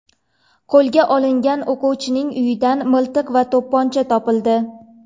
Qo‘lga olingan o‘quvchining uyidan miltiq va to‘pponcha topildi.